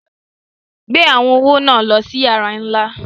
Gbè àwọn ọwọ̀ ná lọ sí yàrà nílá!